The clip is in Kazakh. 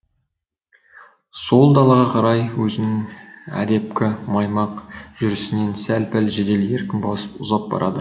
сол далаға қарай өзінің әдепкі маймақ жүрісінен сәл пәл жедел еркін басып ұзап барады